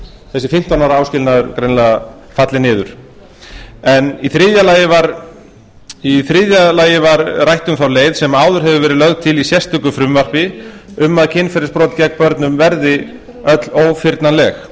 þessi fimmtán ára áskilnaður greinilega fallið niður í þriðja lagi var rætt um þá leið sem áður hefur verið lögð til í sérstöku frumvarpi að kynferðisbrot gegn börnum verði öll ófyrnanleg